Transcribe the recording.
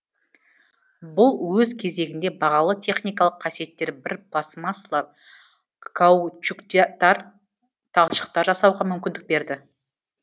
бұл өз кезегінде бағалы техникалық қасиеттері бір пластмассалы каучуктар талшықтар жасауға мүмкіндік берді